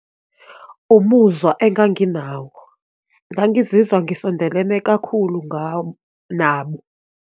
Umuzwa enganginawo, ngangazizwa ngisondelene kakhulu nabo.